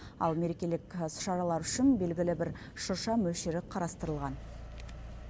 ал мерекелік іс шаралар үшін белгілі бір шырша мөлшері қарастырылған